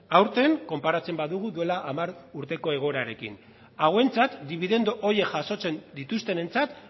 aurten konparatzen badugu duela hamar urteko egoerarekin hauentzat dibidendu horiek jasotzen dituztenentzat